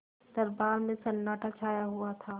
दरबार में सन्नाटा छाया हुआ था